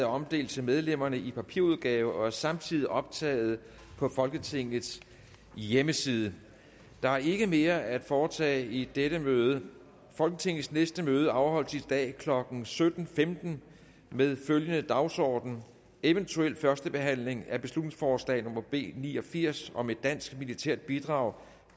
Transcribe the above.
omdelt til medlemmerne i papirudgave og er samtidig optaget på folketingets hjemmeside der er ikke mere at foretage i dette møde folketingets næste møde afholdes i dag klokken sytten femten med følgende dagsorden eventuelt første behandling af beslutningsforslag nummer b ni og firs om et dansk militært bidrag